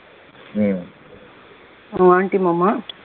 அவன் aunty மாமா